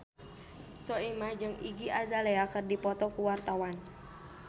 Soimah jeung Iggy Azalea keur dipoto ku wartawan